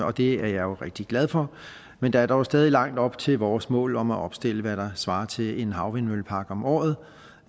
og det er jeg jo rigtig glad for men der er dog stadig langt op til vores mål om at opstille hvad der svarer til en havvindmøllepark om året